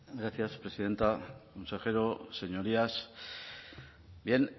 gracias presidenta consejero señorías bien